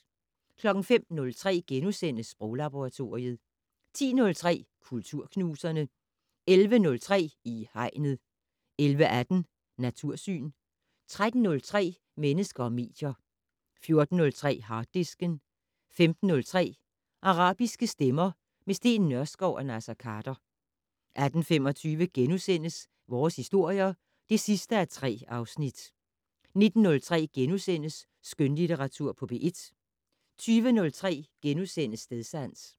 05:03: Sproglaboratoriet * 10:03: Kulturknuserne 11:03: I Hegnet 11:18: Natursyn 13:03: Mennesker og medier 14:03: Harddisken 15:03: Arabiske stemmer - med Steen Nørskov og Naser Khader 18:25: Vores historier (3:3)* 19:03: Skønlitteratur på P1 * 20:03: Stedsans *